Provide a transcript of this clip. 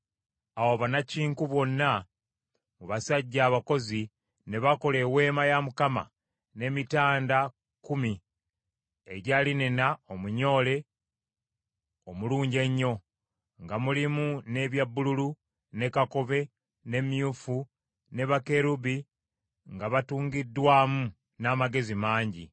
Awo bannakinku bonna mu basajja abakozi ne bakola Eweema ya Mukama n’emitanda kkumi egya linena omunyoole omulungi ennyo, nga mulimu n’ebya bbululu, ne kakobe, ne myufu, ne bakerubi nga batungiddwamu n’amagezi mangi.